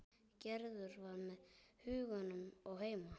Gerður var með hugann heima.